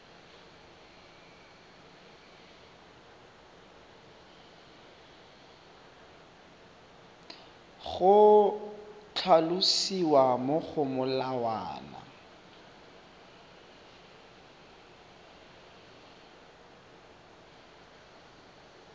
go tlhalosiwa mo go molawana